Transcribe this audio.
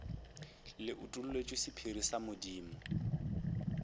le utolletšwe sephiri sa modimo